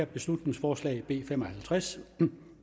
beslutningsforslag nummer b fem og halvtreds